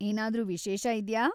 ಏನಾದ್ರೂ ವಿಶೇಷ ಇದ್ಯಾ?